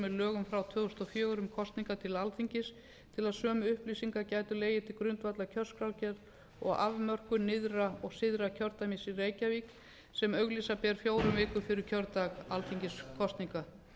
með lögum frá tvö þúsund og fjögur um kosningar til alþingis til að sömu upplýsingar gætu legið til grundvallar kjörskrárgerð og afmörkun nyrðra og syðra kjördæmis í reykjavík sem auglýsa ber fjórum vikum fyrir kjördag alþingiskosninga